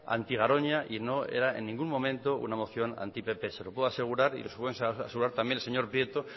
anti garoña y no era en ningún momento una moción anti pp se lo puedo asegurar y lo puede asegurar también el señor prieto